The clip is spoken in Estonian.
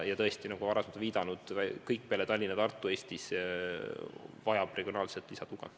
Ja nagu ma olen varem viidanud, Eestis vajab kõik peale Tallinna ja Tartu regionaalset lisatuge.